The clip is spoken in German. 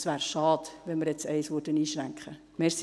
Es wäre schade, wenn wir jetzt eines einschränken würden.